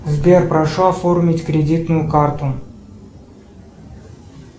сбер прошу оформить кредитную карту